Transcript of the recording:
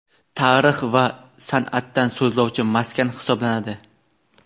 tarix va san’atdan so‘zlovchi maskan hisoblanadi.